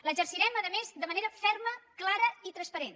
l’exercirem a més de manera ferma clara i transparent